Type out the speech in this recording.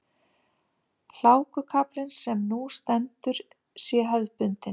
Hlákukaflinn sem nú stendur sé hefðbundinn